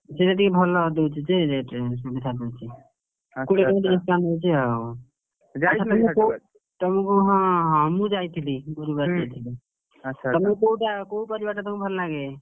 ସିଏ ସେଠି ଭଲ ଦଉଛି ଯେ rate ରେ, ସୁବିଧାରେ ଦଉଛି। କୋଡିଏ ଟଙ୍କା ତିରିଶ ଟଙ୍କା ନଉଛି ଆଉ, ତମକୁ ହଁ ହଁ ମୁଁ ଯାଇଥିଲି ଗୁରୁବାରେ ଯାଇଥିଲି। ତମକୁ କୋଉଟା କୋଉ ପରିବା ଟା ତମକୁ ଭଲଲାଗେ?